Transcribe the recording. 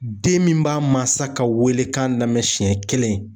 Den min b'a mansa ka wele kan lamɛn siɲɛ kelen